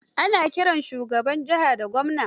Ana kiran shugaban jiha da gwamna.